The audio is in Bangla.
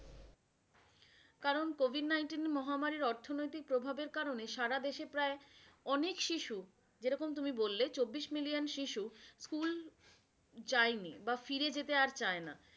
কারণ, COVID-19 মহামারীর অর্থনৈতিক প্রভাবের কারনে সারাদেশে প্রায় অনেক শিশু যেরকম তুমি বললে চব্বিশ million শিশু যায়নি বা ফিরে যেতে আর চায় না।